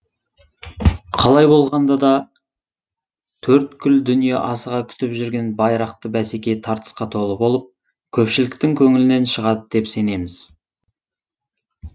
қалай болғанда да төрткүл дүние асыға күтіп жүрген байрақты бәсеке тартысқа толы болып көпшіліктің көңілінен шығады деп сенеміз